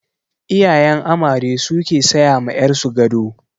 Iyayen amare su ke saya ma ƴar su gado.